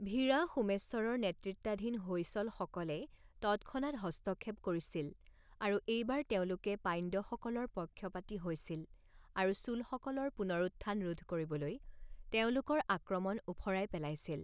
ভিৰা সোমেশ্বৰৰ নেতৃত্বাধীন হৈসলসকলে তৎক্ষণাত হস্তক্ষেপ কৰিছিল আৰু এইবাৰ তেওঁলোকে পাণ্ড্যসকলৰ পক্ষপাতী হৈছিল আৰু চোলসকলৰ পুণৰুত্থান ৰোধ কৰিবলৈ তেওঁলোকৰ আক্ৰমণ ওফৰাই পেলাইছিল।